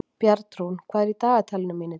Bjarnrún, hvað er í dagatalinu mínu í dag?